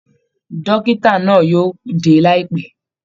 Dọ́kítá náà yóò dé laipẹ.